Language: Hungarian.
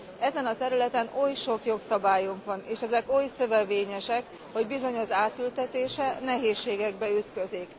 Ezen a területen oly sok jogszabályunk van, és ezek oly szövevényesek, hogy bizony az átültetése nehézségekbe ütközik.